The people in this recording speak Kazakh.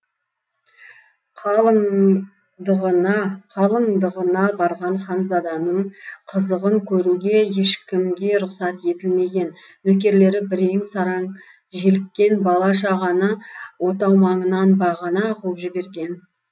қалыңдығына барған ханзаданың қызығын көруге ешкімге рұқсат етілмеген нөкерлері бірен саран желіккен бала шағаны отау маңынан бағана қуып жіберген